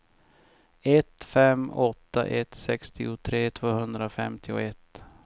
ett fem åtta ett sextiotre tvåhundrafemtioett